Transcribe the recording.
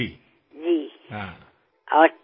উৎসৱত পৰিয়ালৰ সকলোক লোক একত্ৰিত হব